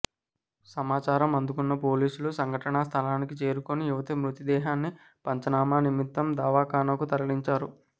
సమాచారం అందుకున్న పోలీసులు సంఘటనా స్థలానికి చేరుకొని యువతి మృతదేహాన్ని పంచనామా నిమిత్తం దవాఖానాకు తరలించారు